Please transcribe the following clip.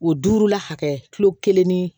O duuru la hakɛ kilo kelen ni